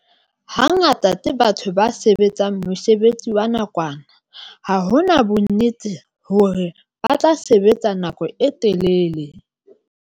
Hangata ke batho ba sebetsang mosebetsi wa nakwana ha ho na bonnete hore ba tla sebetsa nako e telele.